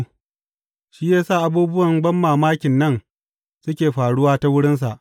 Shi ya sa abubuwan banmamakin nan suke faruwa ta wurinsa.